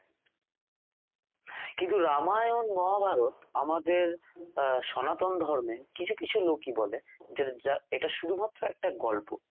কিন্তু রামায়ণ মহাভারত আমাদের আহ সনাতন ধর্মে কিছু কিছু লোকই বলে যেটা যা এটা শুধুমাত্র একটা গল্প